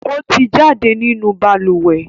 O ti jáde nínú balùwẹ́